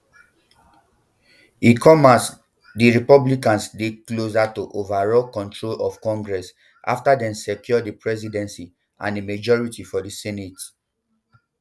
e come as di republicans dey closer to overall control of congress after dem secure di presidency and a majority for di senate